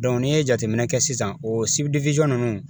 n'i ye jateminɛ kɛ sisan o ninnu